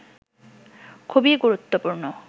খুবই গুরুত্বপূর্ণ